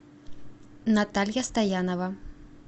наталья стоянова